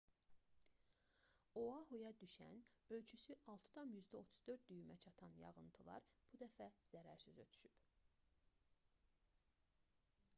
oahuya düşən ölçüsü 6,34 düymə çatan yağıntılar bu dəfə zərərsiz ötüşüb